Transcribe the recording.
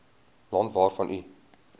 land waarvan u